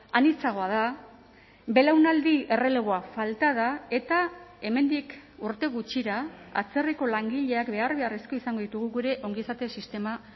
anitzagoa da belaunaldi erreleboa falta da eta hemendik urte gutxira atzerriko langileak behar beharrezko izango ditugu gure ongizate sistema